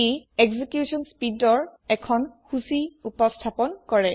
ই execute স্পীদৰ এখন সূচী উপস্থাপন কৰে